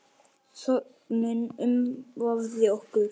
Þögnin umvafði okkur.